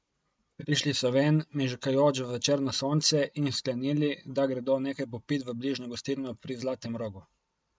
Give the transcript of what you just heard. Prišli so ven, mežikajoč v večerno sonce, in sklenili, da gredo nekaj popit v bližnjo gostilno Pri zlatem rogu.